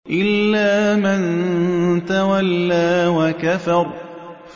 إِلَّا مَن تَوَلَّىٰ وَكَفَرَ